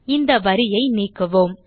இந்த வரியை நீக்குவோம்